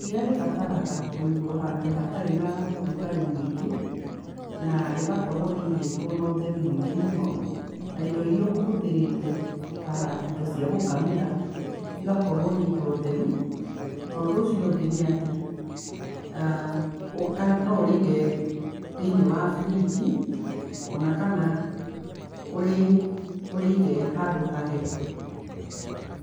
Iria rĩbataraga kũigwa hatarĩ hena ũrugarĩ mũingĩ na rĩgakorwo rĩigĩtwo naũtheru mũno indo irĩa ũkũhũthĩrĩte ta indo cia gũkamĩra igakorwo nĩ indo theru na ũndũ ũcio ũngĩ nĩ atĩ[uhh] nũurige thĩinĩ wa fridge ona kanaũrĩige handũ hahehu.